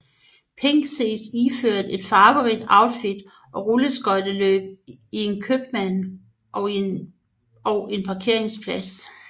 Pink ses iført et farverigt outfit og rulleskøjteløb i en købmand og en parkeringsplads